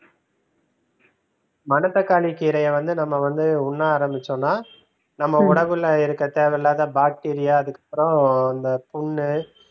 மணத்தக்காளிக் கீரையை வந்து நாம வந்து உண்ண ஆரம்பிச்சோம்னா நம்ம உணவுல இருக்கிற தேவையில்லாத பாக்டீரியா அதுக்கப்புறம் இந்த புண்ணு